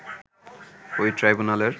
ওই ট্রাইব্যুনালের